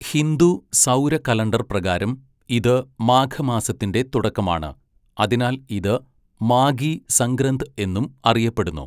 ഹിന്ദു സൗര കലണ്ടർ പ്രകാരം ഇത് മാഘ മാസത്തിന്റെ തുടക്കമാണ്, അതിനാൽ ഇത് 'മാഗി സംഗ്രന്ദ്' എന്നും അറിയപ്പെടുന്നു.